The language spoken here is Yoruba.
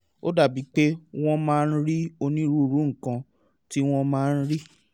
ó dàbí pé wọ́n máa ń rí onírúurú nǹkan tí wọ́n máa ń rí